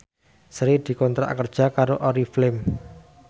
Sri dikontrak kerja karo Oriflame